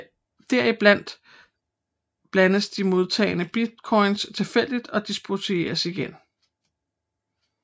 Derefter blandes de modtagne bitcoin tilfældigt og distribueres igen